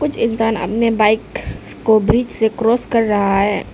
एक जन अपने बाइक को ब्रिज से क्रॉस कर रहा है।